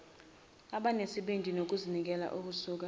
abanesibindi nokuzinikela okusuka